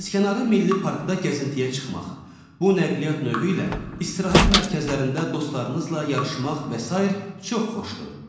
Dənizkənarı milli parkda gəzintiyə çıxmaq, bu nəqliyyat növü ilə istirahət mərkəzlərində dostlarınızla yarışmaq və sair çox xoşdur.